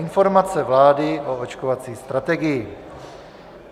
Informace vlády o očkovací strategii